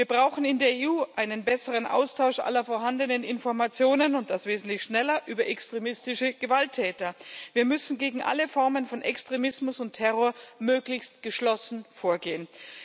Wir brauchen in der EU einen besseren Austausch aller vorhandenen Informationen und das wesentlich schneller über extremistische Gewalttäter. Wir müssen gegen alle Formen von Extremismus und Terror möglichst geschlossen vorgehen.